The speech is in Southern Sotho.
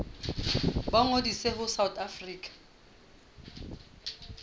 ba ngodise ho south african